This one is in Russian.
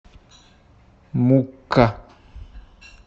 мукка